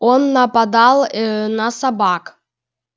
он нападал ээ на собак